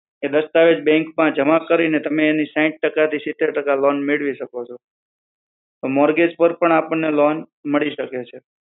એ દસ્તાવેજ બેંક માં જમા કરીને તમે એની સાહિત સિતેર ટકા લોન મેળવી શકો છો મોર્ગેજ પર પણ લોન મળી શકે છે